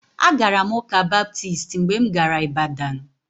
Agara m ụ́kà Baptist mgbe m gara Ịbadan